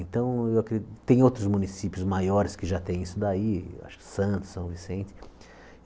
Então, eu acre tem outros municípios maiores que já têm isso daí, acho que Santos, São Vicente.